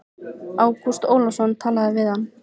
Ágúst Ólafsson talaði við hann.